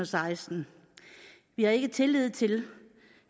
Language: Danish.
seksten vi har ikke tillid til